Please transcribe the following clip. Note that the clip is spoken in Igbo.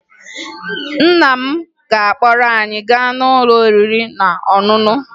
Nna m ga-akpọrọ anyị gaa n'ụlọ oriri na ọṅụṅụ